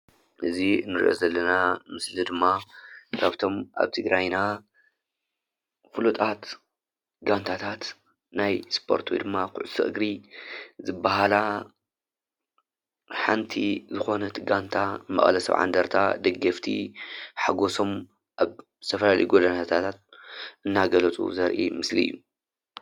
እዚ እንሪኦ ዘለለና ምስሊ ድማ ካብ እቶም ኣብ ትግራይና ፍሉጣት ጋንታት ናይ እስፖርቲ ወይ ድማ ኩዕሶ እግሪ ዝባሃላ ሓንቲ ዝኮነት ጋንታ መቐለ ሰብዓ እንድርታ ደገፍቲ ሓጎሶም ኣብ ዝተፈላለየ ጎደናታት ሓጎሶም እናገለፁ ዘርኢ ምስሊ እዩ፡፡